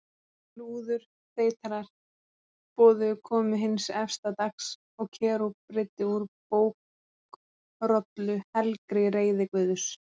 Lúðurþeytarar boðuðu komu hins efsta dags og Kerúb breiddi úr bókrollu, helgri reiði Guðs.